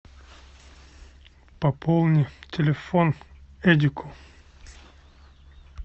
пополни телефон эдику